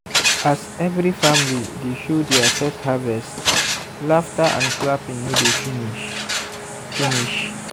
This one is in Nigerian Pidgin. as every family dey show their first harvest laughter and clapping no dey finish. finish.